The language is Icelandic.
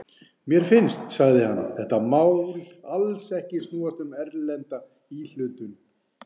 Mér finnst, sagði hann, þetta mál alls ekki snúast um erlenda íhlutun.